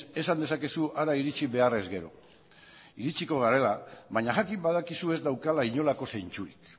esan dezakezu hara iritsi behar ezkero iritsiko bagara baina jakin badakizu ez daukala inolako zentzurik